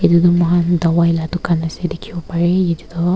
edu tu moikhan dawai la dukaan ase dikhi bo pare edu toh.